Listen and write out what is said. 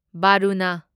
Varuna